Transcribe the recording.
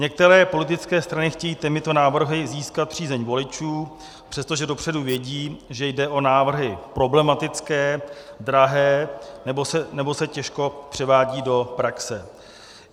Některé politické strany chtějí těmito návrhy získat přízeň voličů, přestože dopředu vědí, že jde o návrhy problematické, drahé nebo se těžko převádí do praxe.